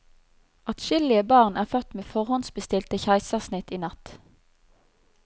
Atskillige barn er født med forhåndbestilte keisersnitt i natt.